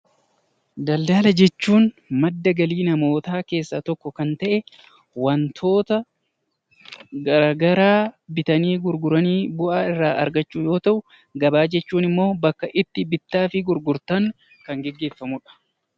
Daldaala jechuun madda galii namootaa keessaa tokko Kan tahe wantoota garagaraa bitanii gurguranii bu'aa irraa argachuu yoo tahu. Gabaa jechuun immoo bakka itti bittaafi gurgurtaan Kan geggeeffamudha.